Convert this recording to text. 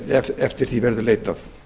ef eftir því verður leitað